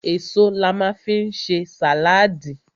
Èso la ma fi ń ṣe sàláàdì.